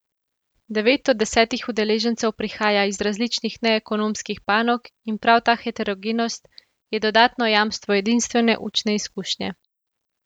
Devet od desetih udeležencev prihaja iz različnih neekonomskih panog in prav ta heterogenost je dodatno jamstvo edinstvene učne izkušnje.